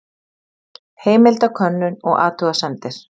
Heimildakönnun og athugasemdir.